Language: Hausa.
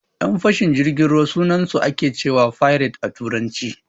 Yan fashin jirgin ruwa sunansu ake cewa "pirates" a Turance.